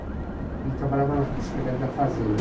Ele trabalhava na na Secretaria da Fazenda.